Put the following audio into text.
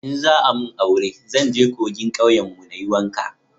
in za a mun aure zan je kogin kauyen mu na yi wanka